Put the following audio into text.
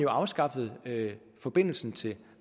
afskaffet forbindelsen til